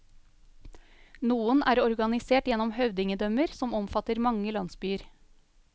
Noen er organisert gjennom høvdingedømmer som omfatter mange landsbyer.